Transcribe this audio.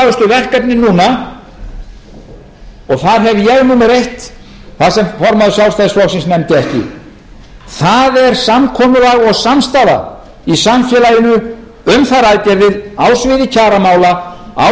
verkefnin núna og þar hef ég númer eitt þar sem formaður sjálfstæðisflokksins nefndi ekki það er samkomulag og samstaða í samfélaginu um þær aðgerðir á sviði kjaramála á sviði fjármála ríkis og sveitarfélaga